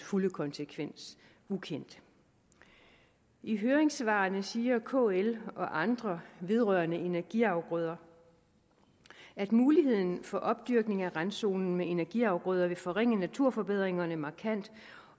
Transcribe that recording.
fulde konsekvens ukendt i høringssvarene siger kl og andre vedrørende energiafgrøder at muligheden for opdyrkning af randzonen med energiafgrøder vil forringe naturforbedringerne markant